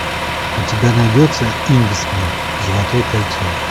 у тебя найдется кингсман золотое кольцо